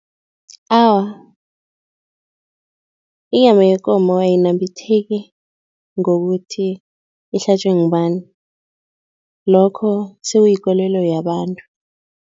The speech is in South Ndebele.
Awa, inyama yekomo ayinambitheki ngokuthi ihlatjwe ngubani, lokho sekuyikolelo yabantu.